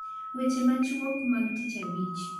Weche machuok mag tich abich